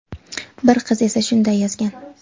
bir qiz esa shunday yozgan:.